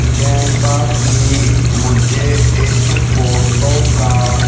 जैसा कि मुझे इस फोटो का--